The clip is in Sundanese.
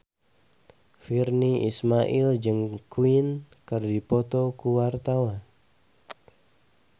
Virnie Ismail jeung Queen keur dipoto ku wartawan